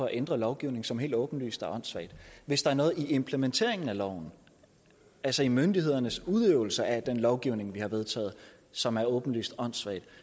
ændre lovgivning som helt åbenlyst er åndssvag hvis der er noget i implementeringen af loven altså i myndighedernes udøvelse af den lovgivning vi har vedtaget som er åbenlyst åndssvagt